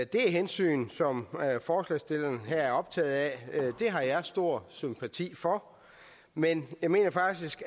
det hensyn som forslagsstillerne her er optaget af har jeg stor sympati for men jeg mener faktisk